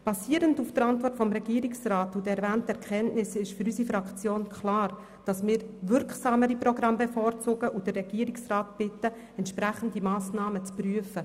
Basierend auf der Antwort des Regierungsrats und der erwähnten Kenntnisse ist für unsere Fraktion klar, dass wir wirksamere Programme bevorzugen und den Regierungsrat bitten, entsprechende Massnahmen zu prüfen.